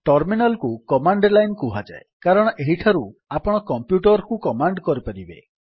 terminal କୁ command line କୁହାଯାଏ କାରଣ ଏହିଠାରୁ ଆପଣ କମ୍ପ୍ୟୁଟର୍ କୁ କମାଣ୍ଡ କରିପାରିବେ